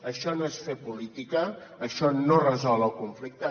això no és fer política això no resol el conflicte